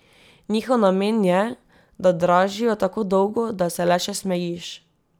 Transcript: Njihov namen je, da dražijo, tako dolgo, da se le še smejiš.